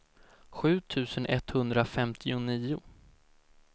sju tusen etthundrafemtionio